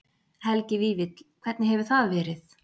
Helgi Vífill: Hvernig hefur það verið?